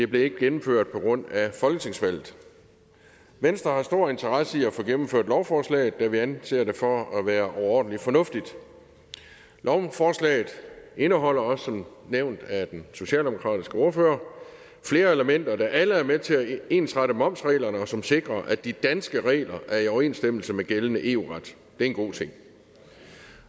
blev gennemført på grund af folketingsvalget venstre har en stor interesse i at få gennemført lovforslaget da vi anser det for at være overordentlig fornuftigt lovforslaget indeholder også som nævnt af den socialdemokratiske ordfører flere elementer der alle er med til at ensrette momsreglerne og som sikrer at de danske regler er i overensstemmelse med gældende eu ret det er en god ting